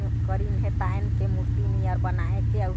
करीन हे तान के आऊ मूर्ति नियर बनाये के आऊ--